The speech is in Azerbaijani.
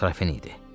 Krafin idi.